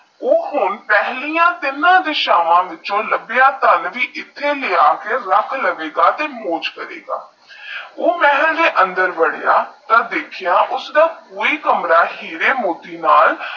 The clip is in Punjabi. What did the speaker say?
ਊ ਹੋਨ ਪਹਿਲਿਆ ਤਿੰਨਾ ਦਿਸ਼ਾਵਾ ਵਿੱਚ ਲਾਬਿਆ ਧਨ ਇੱਥੇ ਲਿਆ ਕੇ ਰਾਬ ਲਵੇਗਾ ਤੇਹ ਮੋਜ ਕਰੇਗਾ ਊ ਮਹੱਲ ਦੇ ਅੰਦਰ ਵਾਰਿਆ ਤਾਹ ਦੇਖਿਆ ਪੂਰਾ ਕਮਰਾ ਹੀਰੇ ਮੋਤੀ ਨਾਲ